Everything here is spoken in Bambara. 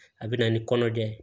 A bɛ na ni kɔnɔdimi ye